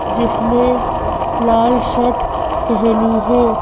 जिसने लाल शर्ट पहनी है।